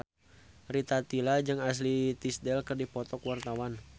Rita Tila jeung Ashley Tisdale keur dipoto ku wartawan